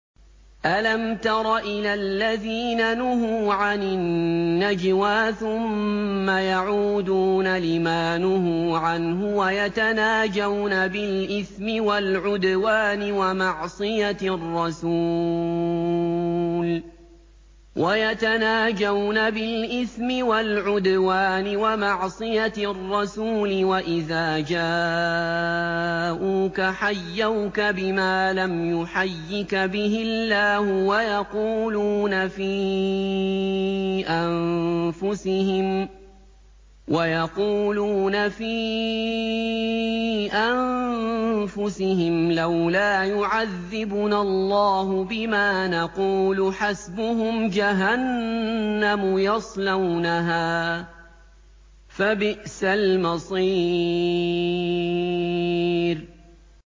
أَلَمْ تَرَ إِلَى الَّذِينَ نُهُوا عَنِ النَّجْوَىٰ ثُمَّ يَعُودُونَ لِمَا نُهُوا عَنْهُ وَيَتَنَاجَوْنَ بِالْإِثْمِ وَالْعُدْوَانِ وَمَعْصِيَتِ الرَّسُولِ وَإِذَا جَاءُوكَ حَيَّوْكَ بِمَا لَمْ يُحَيِّكَ بِهِ اللَّهُ وَيَقُولُونَ فِي أَنفُسِهِمْ لَوْلَا يُعَذِّبُنَا اللَّهُ بِمَا نَقُولُ ۚ حَسْبُهُمْ جَهَنَّمُ يَصْلَوْنَهَا ۖ فَبِئْسَ الْمَصِيرُ